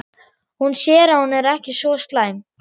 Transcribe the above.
Hún sér að hún er ekki svo slæm.